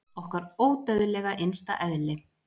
Okkar ódauðlega innsta eðli!